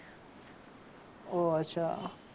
ઓહ અચ્છા